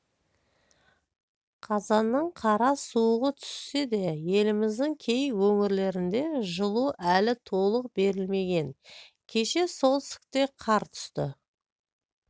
қазанның қара суығы түссе де еліміздің кей өңірлерінде жылу әлі толық берілмеген кеше солтүстікке қар түсті